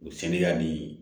U seliyani